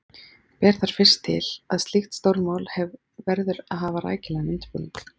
Ber þar fyrst til, að slíkt stórmál verður að hafa rækilegan undirbúning.